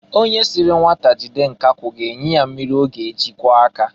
Onye siri nwata jide nkakwụ ga-enye ya mmịrị ọ ga-eji kwọọ aka.